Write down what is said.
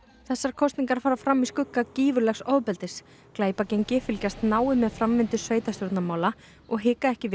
kosningarnar fara fram í skugga gífurlegs ofbeldis glæpagengi fylgjast náið með framvindu sveitarstjórnarmála og hika ekki við